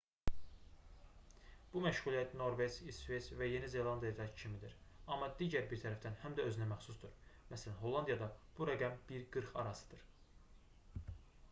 bu məşğuliyyət norveç i̇sveç və yeni zelandiyadakı kimidir amma digər bir tərəfdən həm də özünəməxsusdur məs. hollandiyada bu rəqəm 1-40 arasıdır